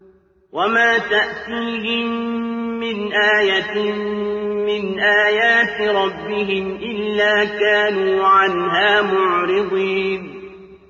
وَمَا تَأْتِيهِم مِّنْ آيَةٍ مِّنْ آيَاتِ رَبِّهِمْ إِلَّا كَانُوا عَنْهَا مُعْرِضِينَ